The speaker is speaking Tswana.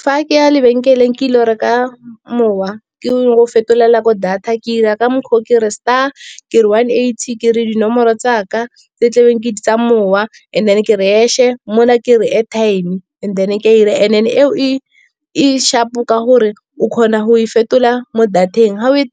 Fa ke ya lebenkeleng ke ile go reka mowa, ke o fetolela ko data ke dira ka mokgwa o, ke re star ke one eighty ke re dinomoro tsaka tse ke tlabeng ke di tsa mowa. And then ke re hash-e mo la ke re airtime and then ke a dira, and-e eo e e sharp-o ka gore o kgona go e fetola mo data-eng. Ga o e